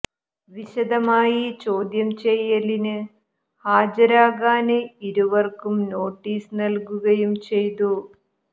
വിശദമായി ചോദ്യം ചെയ്യലിന് ഹാജരാകാന് ഇരുവര്ക്കും നോട്ടീസ് നല്കുകയും ചെയ്തു